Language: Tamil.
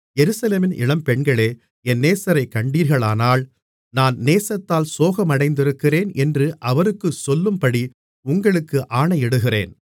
எருசலேமின் இளம்பெண்களே என் நேசரைக் கண்டீர்களானால் நான் நேசத்தால் சோகமடைந்திருக்கிறேன் என்று அவருக்குச் சொல்லும்படி உங்களுக்கு ஆணையிடுகிறேன் மணவாளியின் தோழிகள்